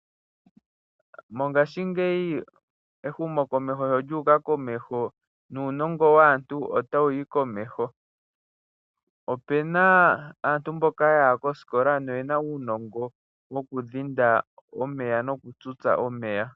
Mongaashingeyi ehumokomeho sho lyuuka komeho nuunongo waantu ota wuyi komeho. Opuna aantu mboka yaya kosikola noyena uunongo wokudhinda omeya nokuga tutsa.